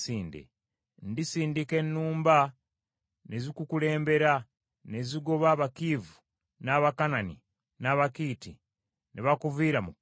Ndisindika ennumba ne zikukulembera, ne zigoba Abakiivi, n’Abakanani, n’Abakiiti ne bakuviira mu kkubo lyo.